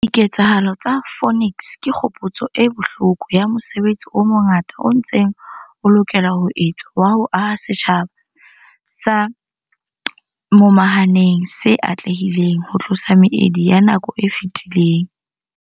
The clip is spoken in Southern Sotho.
Diketsahalo tsa Phoenix ke kgopotso e bohloko ya mosebetsi o mongata o ntseng o lokela ho etswa wa ho aha setjhaba se momahaneng se atlehileng ho tlosa meedi ya nako e fetileng.